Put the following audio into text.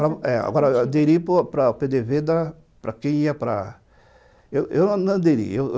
Agora, aderi para para o pê dê vê da... para quem ia para... Eu não aderi.